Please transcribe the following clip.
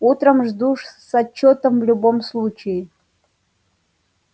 утром жду с отчётом в любом случае